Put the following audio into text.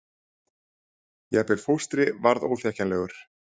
Jafnvel fóstri varð óþekkjanlegur.